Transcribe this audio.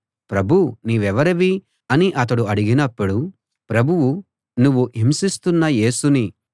ప్రభూ నీవెవరివి అని అతడు అడిగినప్పుడు ప్రభువు నువ్వు హింసిస్తున్న యేసుని